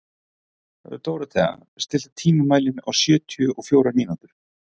Dórothea, stilltu tímamælinn á sjötíu og fjórar mínútur.